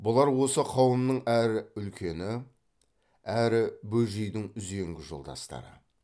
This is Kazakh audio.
бұлар осы қауымның әрі үлкені әрі бөжейдің үзеңгі жолдастары